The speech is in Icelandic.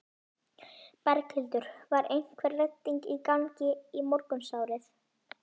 Berghildur: Var einhver redding í gangi í morgunsárið?